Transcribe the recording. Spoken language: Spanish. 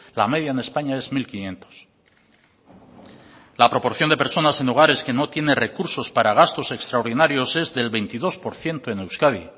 la media en españa es mil quinientos euros la proporción de personas en hogares que no tiene recursos para gastos extraordinarios es del veintidós por ciento en euskadi